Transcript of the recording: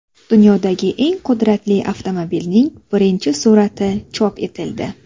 Dunyodagi eng qudratli avtomobilning birinchi surati chop etildi.